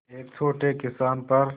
एक छोटे किसान पर